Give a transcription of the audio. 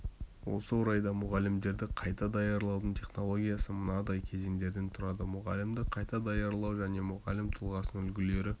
осы орайда мұғалімдерді қайта даярлаудың технологиясы мынадай кезеңдерден тұрады мұғалімді қайта даярлау және мұғалім тұлғасының үлгілері